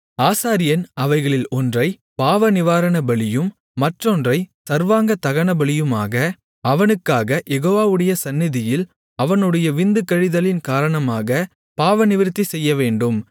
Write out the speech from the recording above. ஆசாரியன் அவைகளில் ஒன்றை பாவநிவாரணபலியும் மற்றொன்றைச் சர்வாங்கதகனபலியுமாக அவனுக்காகக் யெகோவாவுடைய சந்நிதியில் அவனுடைய விந்து கழிதலின் காரணமாக பாவநிவிர்த்தி செய்யவேண்டும்